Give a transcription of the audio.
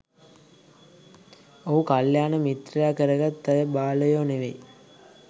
ඹහු කල්‍යාණ මිත්‍රයා කරගත් අය බාලයො නෙවෙයි.